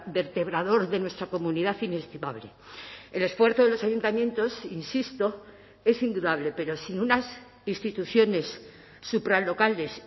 vertebrador de nuestra comunidad inestimable el esfuerzo de los ayuntamientos insisto es indudable pero sin unas instituciones supralocales